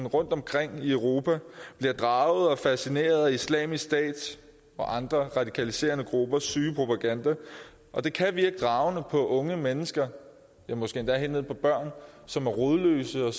rundtomkring i europa bliver draget og fascineret af islamisk stats og andre radikaliserende gruppers syge propaganda det kan virke dragende på unge mennesker måske endda på børn som er rodløse og